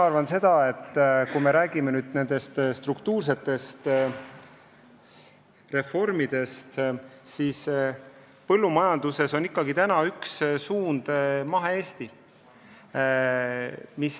Aga kui me räägime struktuursetest reformidest, siis põllumajanduses on praegu üks suund mahe Eesti.